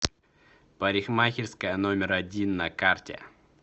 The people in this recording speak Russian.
парикмахерская номер один на карте